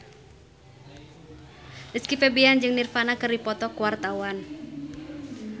Rizky Febian jeung Nirvana keur dipoto ku wartawan